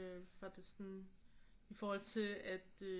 For at det sådan i forhold til at øh